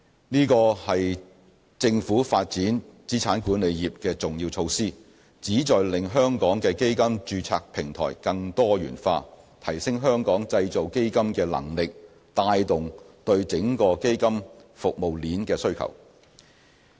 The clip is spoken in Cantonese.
這是政府發展資產管理業的重要措施，旨在令香港的基金註冊平台更多元化，提升香港製造基金的能力，帶動對整個基金服務鏈的需求。